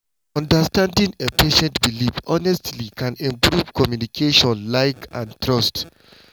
understanding a patient’s beliefs honestly can improve communication like and trust.